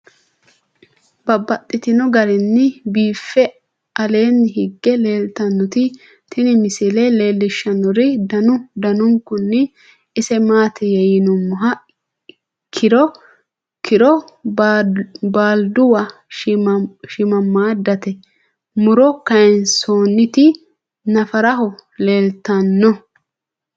Babaxxittinno garinni biiffe aleenni hige leelittannotti tinni misile lelishshanori danu danunkunni isi maattiya yinummoha kkiro baaliduwa shiimmadate muro kayiinsoonnitti naffaraho leelittanno